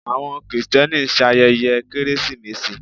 awọn kristeni ṣayẹye keresimesi